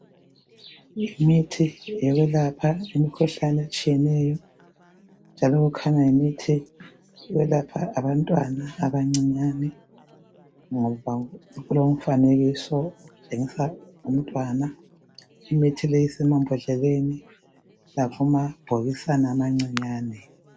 imithi yokulapha imikhuhlane etshiyeneyo njalo kukhanya yimithi yokwelapha abantwana abancinyane ngoba kulomfanekiso womntwana imithi leyi isemabhodleleni lakumabhokisana amancinyane